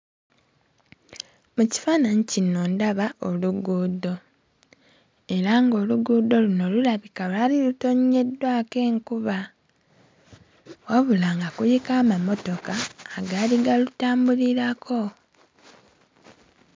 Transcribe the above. Mu kifaananyi kino ndaba oluguudo era ng'oluguudo luno lulabika lwali lutonnyeddwako enkuba wabula nga kuliko amamotoka agaali galutambulirako.